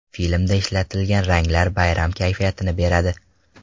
Filmda ishlatilgan ranglar bayram kayfiyatini beradi.